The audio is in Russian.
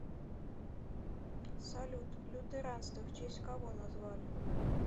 салют лютеранство в честь кого назвали